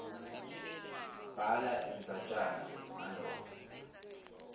bhala indzatjana ngaloko